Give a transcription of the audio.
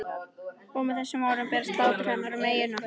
Og með þessum orðum berst hlátur hennar um eyjuna.